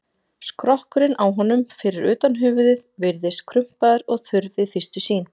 Skrokkurinn á honum, fyrir utan höfuðið, virðist krumpaður og þurr við fyrstu sýn.